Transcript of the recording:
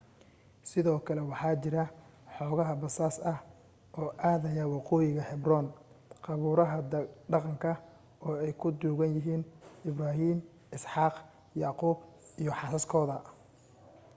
sidoo kale waxaa jiro xooga basas ah oo aadaya waqoyiga hebron qabuuraha dhaqanka oo ay ku duugan yihiin ibrahim isxaaq yacquub iyo xaasaskoda